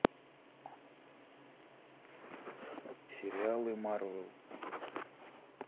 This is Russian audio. сериалы марвел